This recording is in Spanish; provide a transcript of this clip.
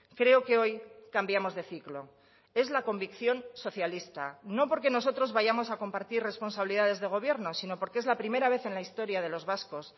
creo que hoy cambiamos de ciclo es la convicción socialista no porque nosotros vayamos a compartir responsabilidades de gobierno sino porque es la primera vez en la historia de los vascos